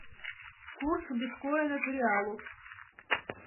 курс биткоина к реалу